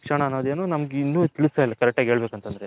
ಶಿಕ್ಷಣ ಅನ್ನೋದ್ ಏನು ತಿಲಸ್ತಿಲ ನಮ್ಮಗೆ correct ಆಗಿ ಹೇಳಬೇಕು ಅಂತ ಅಂದ್ರೆ.